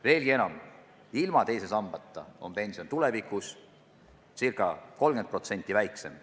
Veelgi enam, ilma teise sambata on pension tulevikus ca 30% väiksem.